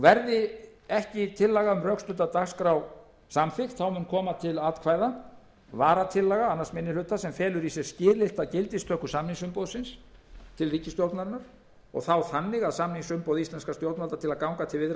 verði ekki tillaga um rökstudda dagskrá samþykkt þá mun koma til atkvæða varatillaga annar minni hluta sem felur í sér skilyrta gildistöku samningsumboðsins til ríkisstjórnarinnar og þá þannig að samningsumboð íslenskra stjórnvalda til að ganga til viðræðna um lausn